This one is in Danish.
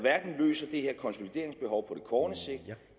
løser det her konsolideringsbehov på kort sigt